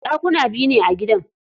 Ɗakuna biyu ne a gidan.